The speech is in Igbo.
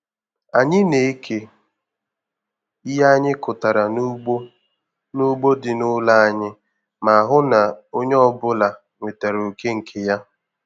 Anyị na-eke ihe anyị kụtara n'ugbo n'ugbo dị n'ụlọ anyị ma hụ na onye ọbụla nwetere oké nke ya.